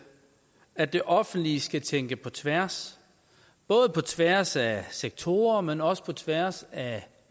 at det offentlige skal tænke på tværs både på tværs af sektorer men også på tværs af